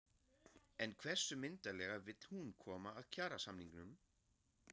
En hversu myndarlega vill hún koma að kjarasamningum?